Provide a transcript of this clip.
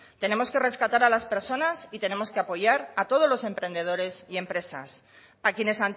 tenemos que rescatar a las personas y tenemos que apoyar a todos los emprendedores y empresas a quienes